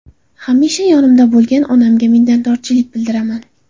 Hamisha yonimda bo‘lgan onamga minnatdorchilik bildiraman.